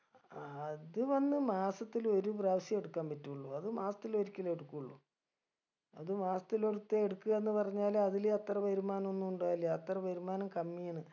അഹ് അത് വന്ന് മാസത്തിൽ ഒരു പ്രാവശ്യം എടുക്കാൻ പറ്റുള്ളു അത് മാസത്തിൽ ഒരിക്കലേ എടുക്കുള്ളൂ അത് മാസത്തിൽ ഒരിത്തെ എടുക്കുവാന്ന് പറഞ്ഞാല് അതില് അത്ര വരുമാനൊന്നും ഇണ്ടാവൂല അത്ര വരുമാനം കമ്മിയാണ്